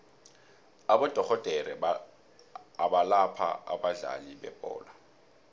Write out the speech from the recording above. abodorhodere abalapha abadlali bebholo